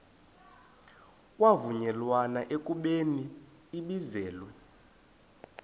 kwavunyelwana ekubeni ibizelwe